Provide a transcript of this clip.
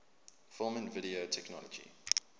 film and video technology